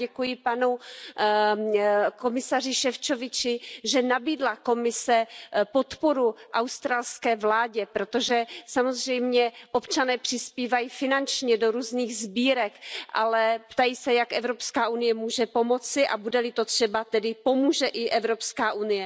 Já děkuji panu komisaři Šefčovičovi, že Komise nabídla podporu australské vládě, protože samozřejmě občané přispívají finančně do různých sbírek, ale ptají se, jak Evropská unie může pomoci, a bude li to třeba, tedy pomůže i EU.